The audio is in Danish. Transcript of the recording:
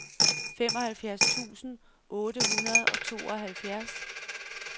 femoghalvfjerds tusind otte hundrede og tooghalvfjerds